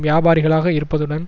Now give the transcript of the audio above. வியாபாரிகளாக இருப்பதுடன்